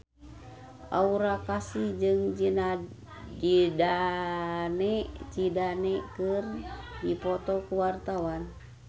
Aura Kasih jeung Zidane Zidane keur dipoto ku wartawan